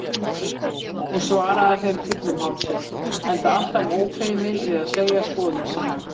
Hún svaraði þeim fullum hálsi, enda alltaf ófeimin við að segja skoðun sína.